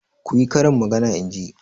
Ku yi karin magana in ji!